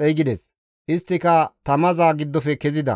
xeygides; isttika tamaza giddofe kezida.